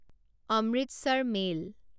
Amritsar mail